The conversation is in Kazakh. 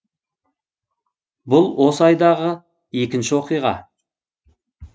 бұл осы айдағы екінші оқиға